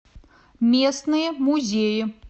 местные музеи